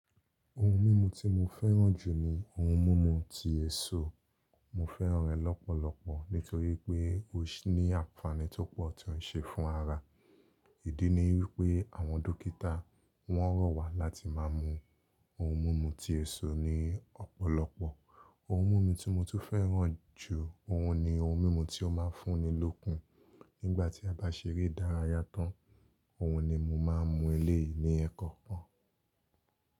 Ohun mímu tí mo fẹ́ràn jù ni ohun mímu ti èso. Mo fẹ́ràn rẹ̀ lọ́pọ̀lọpọ̀ nítorí pé ó ní ànfàní tó pọ̀ tí ó ń ṣe fún ara. Ìdí ni wípé àwọn dókítà wọ́n rọ̀ wá láti máa mú ohun mímu ti èso ni ọ̀pọ̀lọpọ̀. Ohun mímu tí mo tún fẹ́ràn jù ó hun ni ohun mímu tí ó máa ń fún mi lókun nígbà tí a bá ṣeré idára yá to n òhun ni mo máa ń mú eléyìí ni ẹẹ́kọ̀kan.